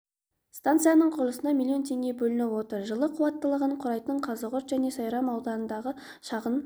станциясының құрылысына миллион теңге бөлініп отыр жылы қуаттылығы құрайтын қазығұрт және сайрам аудандарындағы шағын